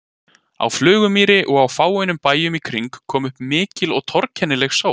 Á Flugumýri og á fáeinum bæjum í kring kom upp mikil og torkennileg sótt.